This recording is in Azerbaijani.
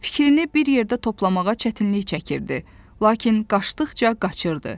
Fikrini bir yerdə toplamağa çətinlik çəkirdi, lakin qaçdıqca qaçırdı.